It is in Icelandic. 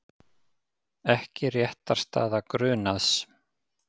Ekki réttarstaða grunaðs